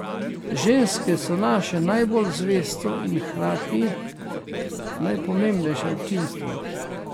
Ženske so naše najbolj zvesto in hkrati najpomembnejše občinstvo.